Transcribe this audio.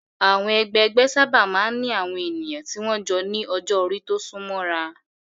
Àwọn ẹgbẹgbẹ́ sábà máa ń ní àwọn ènìyàn tí wọ́n jọ ní ọjọ́-orí tó súnmọ́ ra.